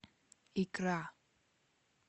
икра